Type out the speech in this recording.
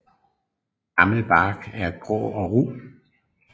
Gammel bark er grå og ru